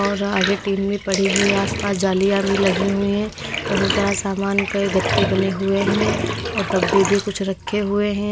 और आगे टीन में पड़ी हुई आसपास जालियाँ भी लगी हुई हैं बहुत सारा सामान के गत्ते बने हुए हैं और डब्बे भी कुछ रखे हुए हैं।